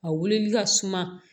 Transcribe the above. A wulili ka suma